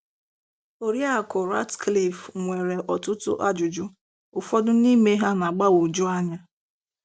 Oriakụ Ratcliff nwere ọtụtụ ajụjụ - ụfọdụ n'ime ha na agbagwoju anya.